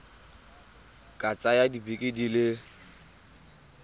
ka tsaya dibeke di le